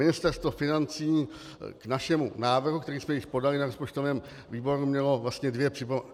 Ministerstvo financí k našemu návrhu, který jsme již podali na rozpočtovém výboru, mělo dvě připomínky.